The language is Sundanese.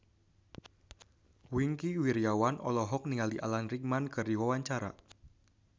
Wingky Wiryawan olohok ningali Alan Rickman keur diwawancara